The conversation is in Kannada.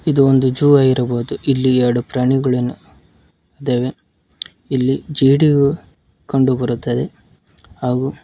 ಇದು ಒಂದು ಜೂ ಆಗಿರಬಹುದು ಇಲ್ಲಿ ಎರಡು ಪ್ರಾಣಿಗಳನ್ನು ಇದ್ದವೆ ಇಲ್ಲಿ ಜೇಡಿಯು ಕಂಡುಬರುತ್ತದೆ ಹಾಗು --